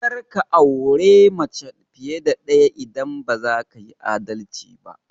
Karka aure mace fiye da ɗaya idan baza kayi adalci ba!